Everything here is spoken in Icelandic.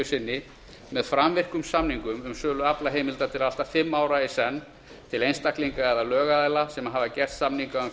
sinni með framvirkum samningum um sölu aflaheimilda til allt að fimm ára í senn til einstaklinga eða lögaðila sem hafa gert samninga um